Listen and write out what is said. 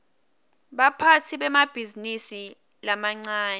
baphatsi bemabhizinisi lamancane